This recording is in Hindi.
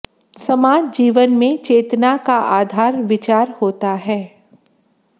समाज जीवन में चेतना का आधार विचार होता है